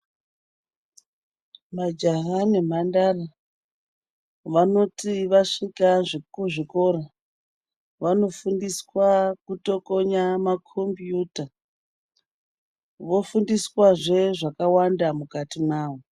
Majaha nemhandara vanoti vasvika kuchikora, vanofundiswa kutokonya makombiyuta. Vofundiswazve zvakawanda mukati mawo.